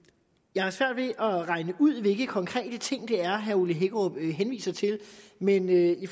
jeg har svært ved at regne ud hvilke konkrete ting det er herre ole hækkerup henviser til men i